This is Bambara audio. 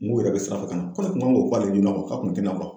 N yɛrɛ bɛ sira fɛ ka na , ko ne kun kan k'o fɔ ale ɲɛna k'a kun tɛ na bɔ.